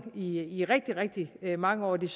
i rigtig rigtig mange år og det